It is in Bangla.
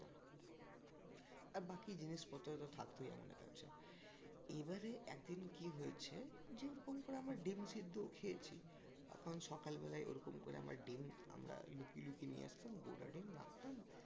আর বাকি জিনিসপত্র তো থাকতোই আমাদের কাছে এবারে একদিন কি হয়েছে? যে ওরকম করে আমরা ডিম সিদ্ধও খেয়েছি তখন সকালবেলায় ওরকম করে আমার ডিম আমরা লুকিয়ে লুকিয়ে নিয়ে আসতাম গোটা ডিম খতাম